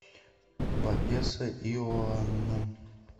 папесса иоанна